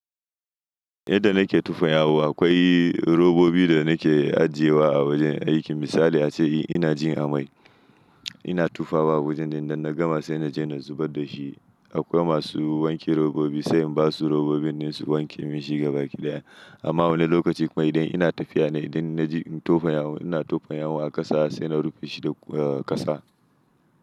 Idan nake tufan yawo akwai robobi da nake ajiyewa a wajen aikin misali ace ina jin amai. Ina tufawa wajen din nan na gama sai naje na zubar da shi. Akwai masu wanke robobi sai na ba su robobin su wanke min shi ga baki ɗaya. Amma wani lokaci kuma idan ina tafiya na idan na ji tufan yawo ina tufan yawo a ƙasa sai na rufe shi da ƙasa.